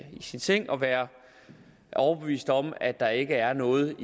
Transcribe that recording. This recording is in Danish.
sin seng og være overbevist om at der ikke er noget